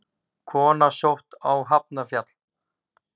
Kona sótt á Hafnarfjall